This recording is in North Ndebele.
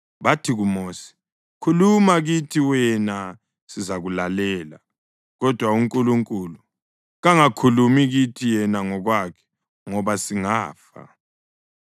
bathi kuMosi, “Khuluma kithi wena sizakulalela. Kodwa uNkulunkulu kangakhulumi kithi yena ngokwakhe ngoba singafa.”